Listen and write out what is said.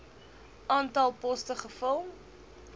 aantal poste gevul